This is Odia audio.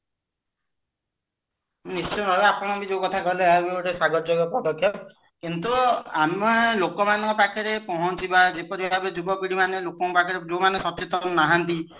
ନିଶ୍ଚୟ ଭାବେ ଆପଣ ବି ଯୋଊ କଥା କହିଲେ ଏହା ବି ଗୋଟେ ସ୍ଵାଗତ ଯୋଗ୍ୟ ପଦେକ୍ଷପ କିନ୍ତୁ ଆମେ ଲୋକ ମାନଙ୍କ ପାଖେରେ ପହଞ୍ଚିବା ଯେପରି ଭାବେ ଯୁବପିଢି ମନେ ଲୋକଙ୍କ ପାଖରେ ଯୋଉମାନେ ସଚେତନ ନାହାନ୍ତି